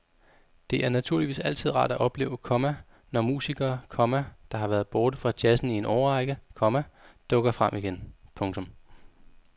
Det er naturligvis altid rart at opleve, komma når musikere, komma der har været borte fra jazzen i en årrække, komma dukker frem igen. punktum